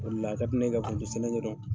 O debla ,a ka di ne ye ka foronto sɛnɛ ɲɛdɔn .